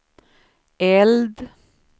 eld